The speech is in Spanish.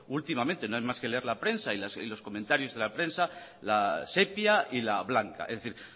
últimamente no hay más que leer la prensa y los comentarios de la prensa la sepia y la blanca es decir